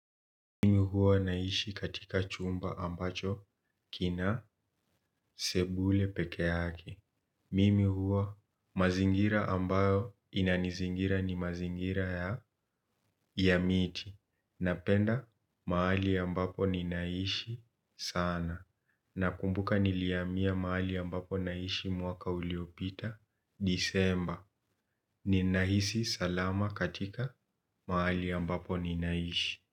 Mimi huwa naishi katika chumba ambacho kina sebule pekee yake. Mimi huwa mazingira ambayo inanizingira ni mazingira ya miti. Napenda mahali ambapo ninaishi sana. Nakumbuka nilihamia mahali ninapoishi mwaka uliopita disemba. Ni nahisi salama katika mahali ambapo ninaishi.